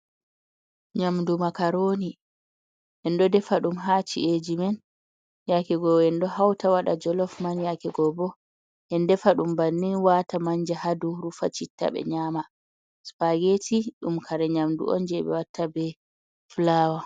Nyamdu makaroni. En ɗo defa ɗum ha ci’eji men. Yake go enɗo hauta waɗa jolof man, yake go bo en defa ɗum bannin wata manja hadau, rufa citta ɓe nyama. spageti ɗum kare nyamdu on je ɓe watta be fulawa.